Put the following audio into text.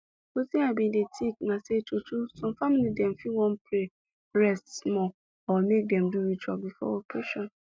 wetin i bin dey think na say true true some family dem fit wan pray rest small or make dem do ritual before operation